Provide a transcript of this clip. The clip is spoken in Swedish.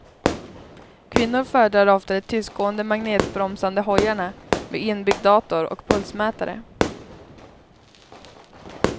Kvinnor föredrar ofta de tystgående magnetbromsade hojarna med inbyggd dator och pulsmätare.